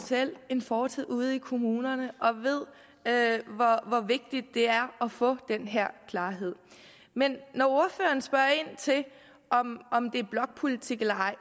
selv en fortid ude i kommunerne og ved hvor vigtigt det er at få den her klarhed men når ordføreren spørger ind til om det er blokpolitik eller ej